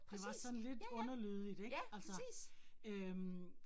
Det var sådan lidt underlødigt ik altså øh